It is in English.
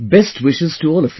Best wishes to all of you